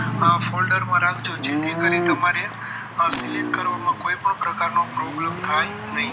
આ folder માં રાખજો જેથી કરી તમારે select કરવામાં કોઈ પણ પ્રકારનો problem થાય નહીં